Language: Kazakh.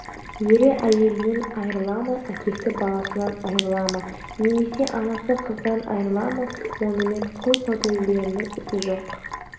ері әйелінен айрыла ма әкесі баласынан айрыла ма немесе анасы қызынан айрыла ма онымен құл саудагерлерінің ісі жоқ